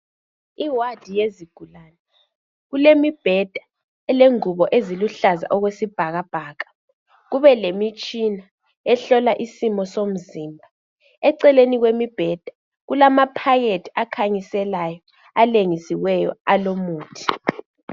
Iwadi yezigulane kulemibheda elengubo eziluhlaza okwesibhakabhaka. Kube lemitshina ehlola isimo somzimba. Eceleni kwemibheda kulamaphakethi akhanyiselayo alengisiweyo alomuthi.